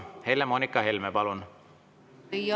Helle-Moonika Helme, palun!